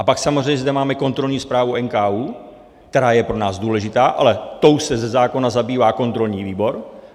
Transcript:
A pak samozřejmě tu máme kontrolní zprávu NKÚ, která je pro nás důležitá, ale tou se ze zákona zabývá kontrolní výbor.